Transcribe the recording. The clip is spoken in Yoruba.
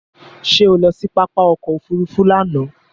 Ṣé o lọ sí pápá ọkọ òfúrúúfú lánàá?